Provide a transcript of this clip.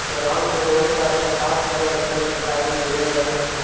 Ground में बहुत सारे घास हरे भरे दिखाई दे रहे हैं।